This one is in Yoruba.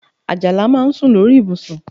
Àjàlá máa ń sùn lórí ibùsùn